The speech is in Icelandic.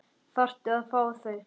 Þarftu að fá þau?